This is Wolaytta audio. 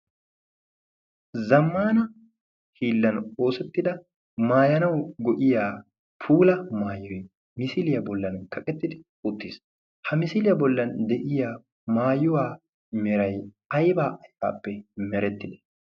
zammana hiillan oosettida maayanau go'iya pula maayoi misiiliyaa bollan kaqettidi uttiis .ha misiiliyaa bollan de'iya maayuwaa meray aybaa aybaappe meretti?